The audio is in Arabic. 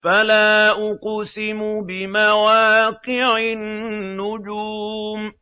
۞ فَلَا أُقْسِمُ بِمَوَاقِعِ النُّجُومِ